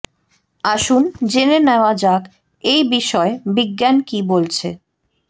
আসুন জেনে নেওয়া যাক এই বিষয়ে বিজ্ঞান কি বলছে